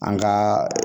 An ka